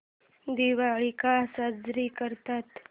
दिवाळी का साजरी करतात